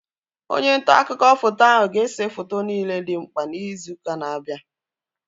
Onye ntaakụkọ foto ahu ga-ese foto niile dị mkpa izu ụka na-abịa